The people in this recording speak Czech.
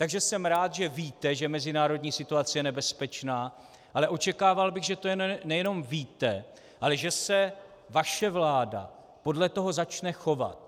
Takže jsem rád, že víte, že mezinárodní situace je nebezpečná, ale očekával bych, že to nejenom víte, ale že se vaše vláda podle toho začne chovat.